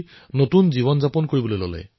নতুন জীৱন লাভ কৰিলে